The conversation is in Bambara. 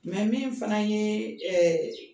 Mɛ min fana ye